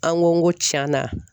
An ko n ko tiɲana